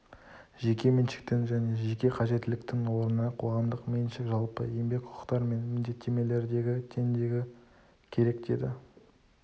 жеке меншіктің және жеке қажетіліктің орнына қоғамдық меншік жалпы еңбек құқықтар мен міндеттемелердегі теңдігі керек деді